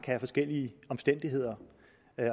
have forskellige omstændigheder